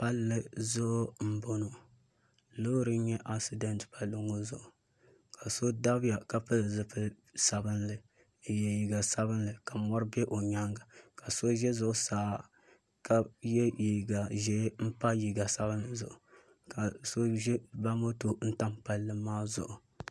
Palli zuɣu n bɔŋɔ loori n nyɛ asidɛnt palli ŋɔ zuɣu ka so dabiya ka pili zipili sabinli n yɛ liiga sabinli ka mɔri bɛ o nyaanga ka so ʒɛ zuɣusaa ka yɛ liiga ʒiɛ pa liiga sabinli zuɣu ka so ba moto n tam palli maa zuɣu